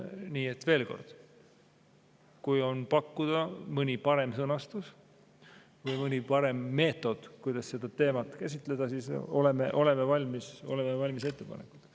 Nii et veel kord, kui on pakkuda mõni parem sõnastus või mõni parem meetod, kuidas seda teemat käsitleda, siis oleme valmis ettepanekuteks.